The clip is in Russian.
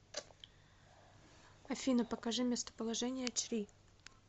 афина покажи местоположение чри